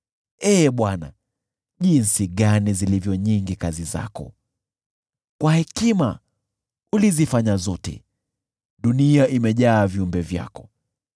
Ee Bwana , jinsi matendo yako yalivyo mengi! Kwa hekima ulizifanya zote, dunia imejaa viumbe vyako.